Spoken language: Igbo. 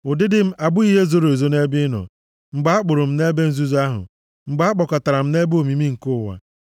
Ụdịdị m abụghị ihe zoro ezo nʼebe ị nọ mgbe a kpụrụ m nʼebe nzuzo ahụ, mgbe a kpakọtara m nʼebe omimi nke ụwa.